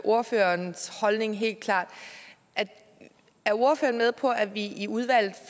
ordførerens holdning helt klart er ordføreren med på at vi i udvalget